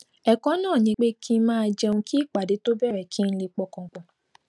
èkó náà ni pé kí n máa jẹun kí ìpàdé tó bèrè kí n lè pọkàn pò